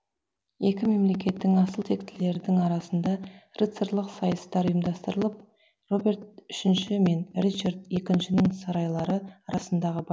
екі мемлекеттің асыл тектілердің арасында рыцарлық сайыстар ұйымдастырылып роберт үшінші мен ричард екіншінің сарайлары арасындағы